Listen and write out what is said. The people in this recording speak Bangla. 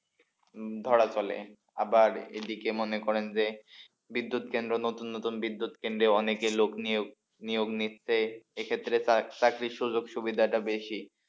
ধরা চলে আবার এদিকে মনে করেন যে বিদ্যুৎ কেন্দ্র নতুন নতুন বিদ্যুৎ কেন্দ্রে অনেকে লোক নিয়োগ নিয়োগ নিচ্ছে এক্ষেত্রে তার চাকরির সুযোগ সুবিধাটা বেশি।